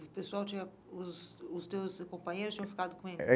O pessoal tinha... Os os teus companheiros tinham ficado com ele? É.